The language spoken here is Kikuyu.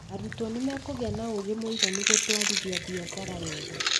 Arutwo nĩ makũgia na ũũgĩ mũiganu gũtwarithia biacara weega